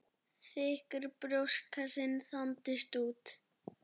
Þykkur brjóstkassinn þandist út.